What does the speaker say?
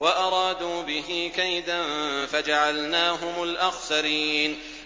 وَأَرَادُوا بِهِ كَيْدًا فَجَعَلْنَاهُمُ الْأَخْسَرِينَ